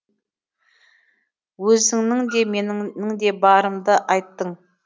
өзіңнің де менің де барымды айттың